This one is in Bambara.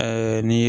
n'i